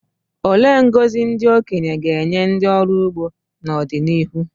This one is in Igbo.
Olee ngọzi ndị okenye ga-enye ndị ọrụ ugbo n’ọdịnihu?